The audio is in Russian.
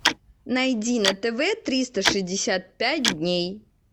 найди на тв триста шестьдесят пять дней